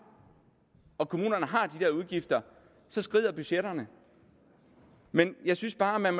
og når kommunerne har de udgifter så skrider budgetterne men jeg synes bare man